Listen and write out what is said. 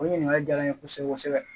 O ɲininkali jala n ye kosɛbɛ kosɛbɛ